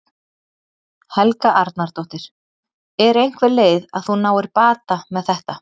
Helga Arnardóttir: Er einhver leið að þú náir bata með þetta?